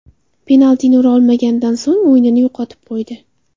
Penaltini ura olmaganidan so‘ng o‘yinini yo‘qotib qo‘ydi.